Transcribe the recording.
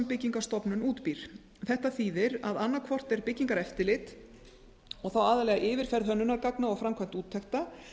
byggingarstofnun býr til þetta þýðir að annaðhvort er byggingareftirlit þá aðallega yfirferð hönnunargagna og